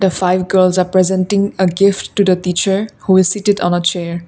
five girls are presenting a gift to the teacher who is sit it on a chair.